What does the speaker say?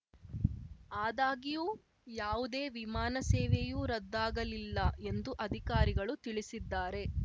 ಆದಾಗ್ಯೂ ಯಾವುದೇ ವಿಮಾನ ಸೇವೆಯು ರದ್ದಾಗಲಿಲ್ಲ ಎಂದು ಅಧಿಕಾರಿಗಳು ತಿಳಿಸಿದ್ದಾರೆ